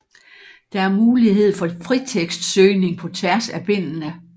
Der er mulighed for fritekstsøgning på tværs af bindene